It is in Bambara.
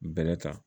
Bɛrɛ ta